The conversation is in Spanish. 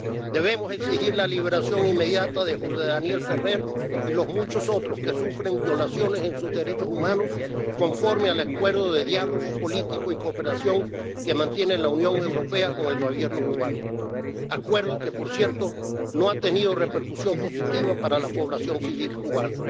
Debemos exigir la liberación inmediata de José Daniel Ferrer y los muchos otros que sufren violaciones de los derechos humanos conforme al Acuerdo de Diálogo Político y Cooperación entre la Unión Europea y el Gobierno cubano, Acuerdo que, por cierto, no ha tenido repercusión positiva para la población civil cubana.